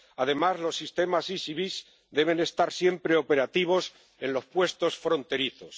Además, los sistemas SIS y VIS deben estar siempre operativos en los puestos fronterizos.